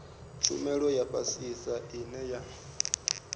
tshumelo ya fhasisa ine ya